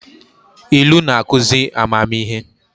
Ilu na-akụzị amamihe